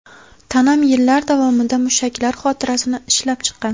Tanam yillar davomida mushaklar xotirasini ishlab chiqqan.